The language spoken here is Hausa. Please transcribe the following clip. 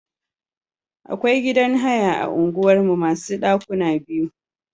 Akwai gidan haya a unguwar mu masu ɗakuna biyu.